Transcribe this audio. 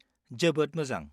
जोबोद मोजां।